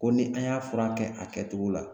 Ko ni an y'a furakɛ a kɛtogo la